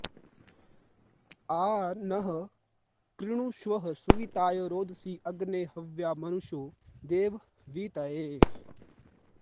आ नः कृणुष्व सुविताय रोदसी अग्ने हव्या मनुषो देव वीतये